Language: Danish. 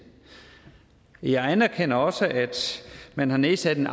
jeg anerkender også at man har nedsat en